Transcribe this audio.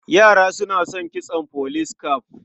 Yara suna son kitson police cap.